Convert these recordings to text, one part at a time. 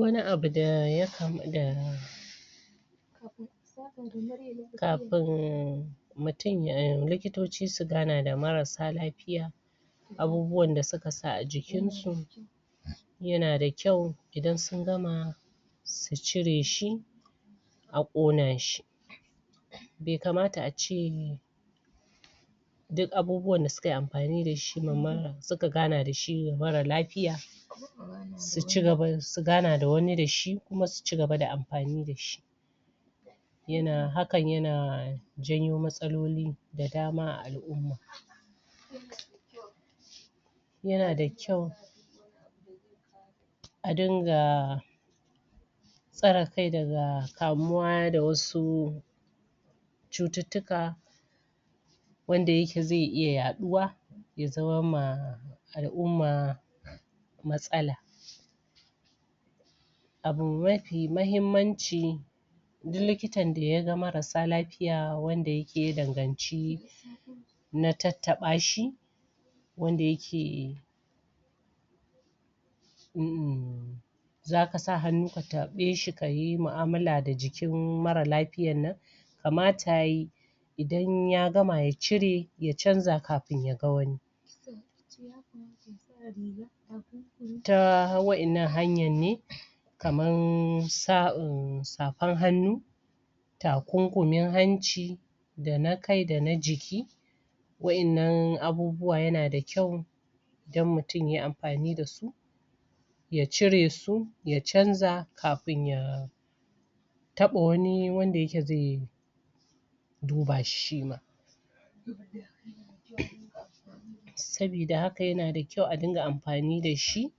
wani abu da kafin likitoci su gana da marasa lafiya abubuwan da suka sa a jikin su yana da kyau idan sun gama su cire shi a ƙona shi be kamata a ce duk abubuwan da suka yi amfani da shi suka gana da shi wa marar lafiya su gana da wani da shi kuma su cigaba da amfani da shi hakan yana janyo matsaloli da dama a al'umma yana da kyau a dinga tsare kai daga kamuwa da wasu cututtuka wanda yake ze iya yaɗuwa ya zama ma al'umma matsala abu mafi mahimmanci duk likitan da ya ga marasa lafiya wanda yake ya danganci na tattaɓa shi wanda yake umm zaka sa hannu ka taɓe shi kayi mu'amala da jikin marar lafiyar nan kamata yayi idan ya gama ya cire ya canza kafin ya ga wani ta wa'ennan hanyar ne kamar safar hannu takunkumin hanci da na kai da na jiki wa'ennan abubuwa yana da kyau idan mutum yayi amfani da su ya cire su ya canza kafin ya taɓa wani wanda yake ze duba shi shima sabida haka yana da kyau a dinga amfani da shi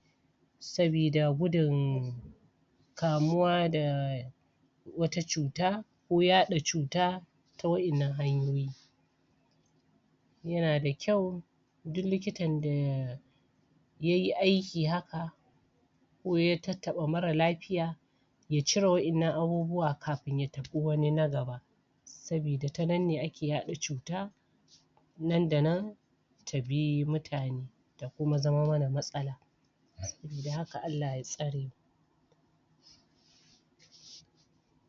sabida gudun kamuwa da wata cuta ko yaɗa cuta ta wa'ennan hanyoyi yana da kyau duk likitan da yayi aiki haka ko ya tattaɓa marar lafiya yacire wa'innan abubuwa kafin ya taɓi wani na gaba sabida ta nan ne ake yaɗa cuta nan da nan ta bi mutane ta kuma zama mana matsala sabida haka Allah ya tsare mu